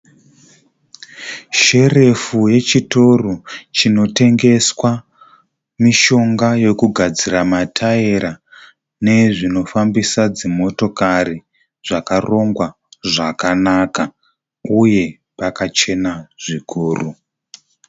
Sherefu yechitoro chinotengeswa mishonga yekugadzira mataera nezvinofambisa dzimotokari zvakarongwa zvakanaka uye pakachena zvikuru.